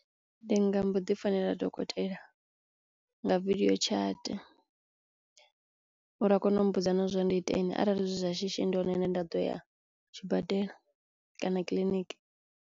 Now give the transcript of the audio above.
Ndi nga mbo ḓi founela dokotela nga video chart uri a kono u mmbudza na zwo uri ndi iteni arali zwi zwa shishi ndi hone hune nda ḓo ya tshibadela kana kiḽiniki.